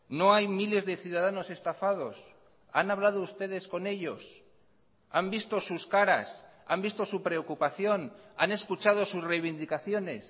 no hay miles de ciudadanos estafados han hablado ustedes con ellos han visto sus caras han visto su preocupación han escuchado sus reivindicaciones